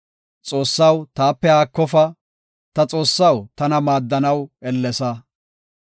Xoossaw, taape haakofa ta Xoossaw, tana maaddanaw ellesa.